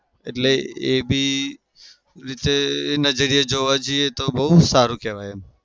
એટલે એ બી રીતે એ નજરિયે જોવા જઈએ તો બઉ સારું કેવાય એમ.